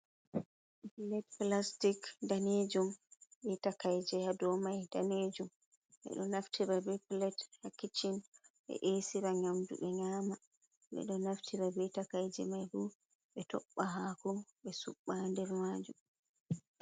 "Pilet" plastic danejum be takaije dou mai danejum ɓeɗo naftira be pilet ha kicchin ɓe esira nyamdu ɓe nyama ɓeɗo naftira be takaije mai bo ɓe tobba hako ɓe subba ha nder majum.